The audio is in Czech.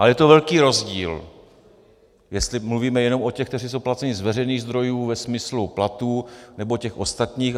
Ale je to velký rozdíl, jestli mluvíme jenom o těch, kteří jsou placeni z veřejných zdrojů ve smyslu platů, nebo těch ostatních.